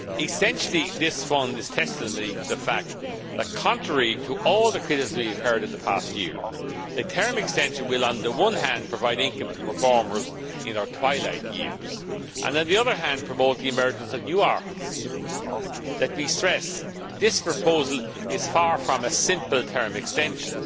Essentially this fund is tested on the fact that, contrary to all the criticism we have heard in the past year, the term extension will, on the one hand, provide income to performers in their twilight years and, on the other hand, promote the emergence of new arts. Let me stress that this proposal is far from a simple term extension.